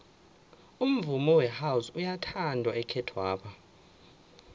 umvumo wehouse uyathandwa ekhethwapha